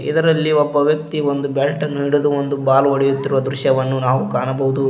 ಇದರಲ್ಲಿ ಒಬ್ಬ ವ್ಯಕ್ತಿ ಒಂದು ಬ್ಯಾಟ್ ನ ಹಿಡಿದು ಒಂದು ಬಾಲ್ ಹೊಡೆಯುತ್ತಿರುವ ದೃಶ್ಯವನ್ನು ನಾವು ಕಾಣಬಹುದು.